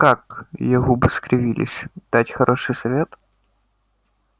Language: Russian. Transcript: как её губы скривились дать хороший совет